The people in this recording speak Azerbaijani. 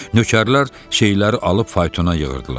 Nökərlər şeyləri alıb faytona yığırdılar.